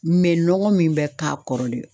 nɔgɔ min bɛ k'a kɔrɔ de